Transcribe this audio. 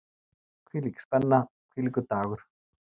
Hvílík spenna, hvílíkur dagur!